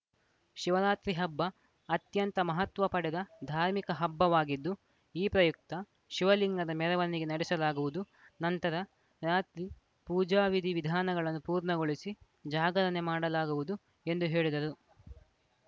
ಶಿವರಾತ್ರಿ ಹಬ್ಬ ಅತ್ಯಂತ ಮಹತ್ವ ಪಡೆದ ಧಾರ್ಮಿಕ ಹಬ್ಬವಾಗಿದ್ದು ಈ ಪ್ರಯುಕ್ತ ಶಿವಲಿಂಗದ ಮೆರವಣಿಗೆ ನಡೆಸಲಾಗುವುದು ನಂತರ ರಾತ್ರಿ ಪೂಜಾ ವಿಧಿ ವಿಧಾನಗಳನ್ನು ಪೂರ್ಣಗೊಳಿಸಿ ಜಾಗರಣೆ ಮಾಡಲಾಗುವುದು ಎಂದು ಹೇಳಿದರು